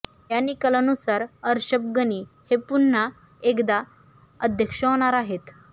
या निकालानुसार अशर्रफ गनी हे पुन्हा एकदा अध्यक्ष होणार आहेत